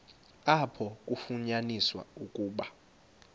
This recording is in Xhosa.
apho kwafunyaniswa ukuba